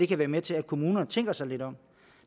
kan være med til at kommunerne tænker sig lidt om